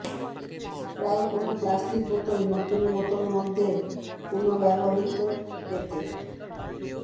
প্রায় কোন প্লাস্টিক বোতল নতুন বোতল মধ্যে পুনর্ব্যবহৃত পেতে